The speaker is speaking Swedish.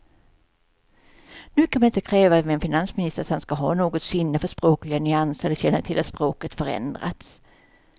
Nu kan man inte kräva av en finansminister att han ska ha något sinne för språkliga nyanser eller känna till att språket förändrats.